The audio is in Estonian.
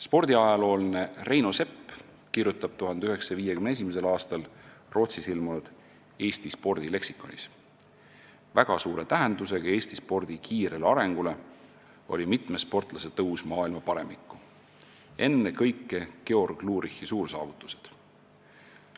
Spordiajaloolane Reino Sepp kirjutab 1951. aastal Rootsis ilmunud "Eesti spordi leksikonis": "Väga suure tähendusega Eesti spordi kiirele arengule oli mitme sportlase tõus maailma paremikku, enne kõike Georg Lurichi suursaavutused.